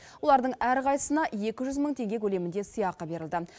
олардың әрқайсысына екі жүз мың теңге көлемінде сыйақы берілді